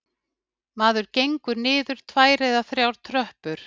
Maður gengur niður tvær eða þrjár tröppur